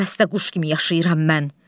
Qəfəsdə quş kimi yaşayıram mən.